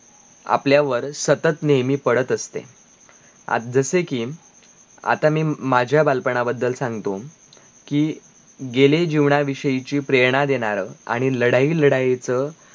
आपल्यावर सतत नेहमी पडत असते आता जसे की, आता मी माझा बालपणा बद्दल सांगतो, कि गेले जीवनाविषयची प्रेरणा देणार आणी लडाई-लडाई च